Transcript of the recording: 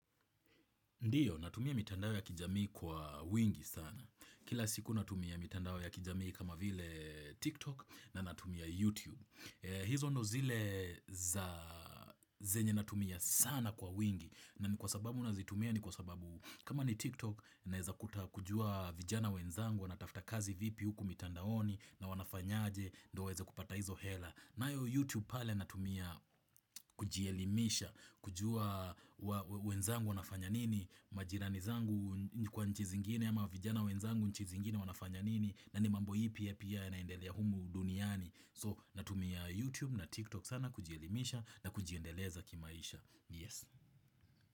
Ndiyo, natumia mitandao ya kijamii kwa wingi sana. Kila siku natumia mitandao ya kijamii kama vile TikTok na natumia YouTube. Hizo ndo zile za zenye natumia sana kwa wingi. Na ni kwa sababu nazitumia ni kwa sababu kama ni TikTok naeza kuta kujua vijana wenzangu wanatafuta kazi vipi huku mitandaoni na wanafanyaje ndo waeze kupata hizo hela. Nayo YouTube pale natumia kujielimisha kujua wenzangu wanafanya nini. Majirani zangu kwa nchi zingine ama vijana wenzangu nchi zingine wanafanya nini na ni mambo ipi pia yanaendelea humu duniani. So natumia YouTube na TikTok sana kujielimisha na kujiendeleza kimaisha, Yes.